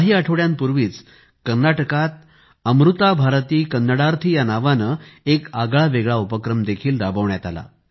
काही आठवड्यांपूर्वी कर्नाटकात अमृता भारती कन्नडार्थी या नावाने एक आगळावेगळा उपक्रम देखील राबवण्यात आला